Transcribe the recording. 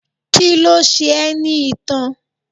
Kíló ṣe ẹ́ ní itan?